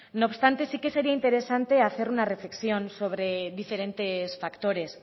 no obstante sí que sería interesante hacer una reflexión sobre diferentes factores